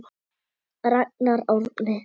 Ragnar Árni.